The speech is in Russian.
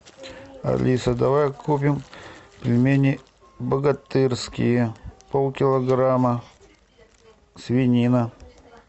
алиса давай купим пельмени богатырские полкилограмма свинина